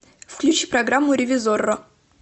включи программу ревизорро